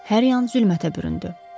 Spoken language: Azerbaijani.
Hər yan zülmətə büründü.